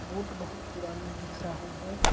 Boat बहुत पुराना दिख रहा है।